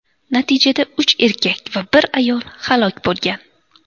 Natijada uch erkak va bir ayol halok bo‘lgan.